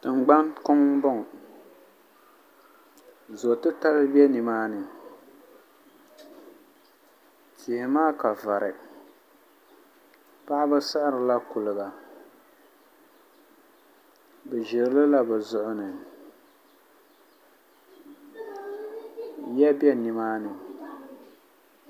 Tingbani kuŋ n boŋo zo titali bɛ nimaani tihi maa ka vari paɣaba siɣirila kuliga bi ʒirilila bi zuɣu ni yiya bɛ nimaani